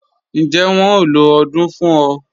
Ǹjẹ́ wọ́n ló odung fún ọ?